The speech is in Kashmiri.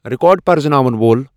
ریکارڈ پرزٕناون وۄل ۔